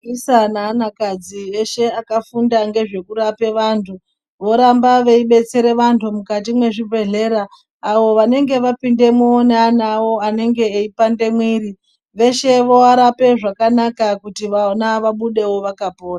Vaisa nevanakadzi veshe vakafunda nezve kurapa antu voramba veidetsereka antu mukati mwezvibhehlera. Avo vanenge vapindamwo neana avo anenge eyipande mwiri veshe voarape zvakanaka kuti vana vabudewo vakapora.